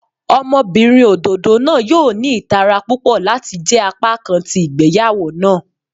Ọmọbinrin ododo naa yoo ni itara pupọ lati jẹ apakan ti igbeyawo naa.